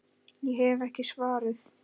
Ég hef ekki svarið.